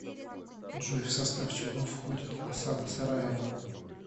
джой в состав чего входит осада сараева